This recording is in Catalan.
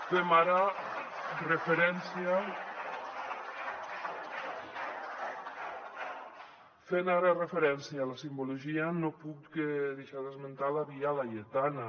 fent ara referència a la simbologia no puc deixar d’esmentar la via laietana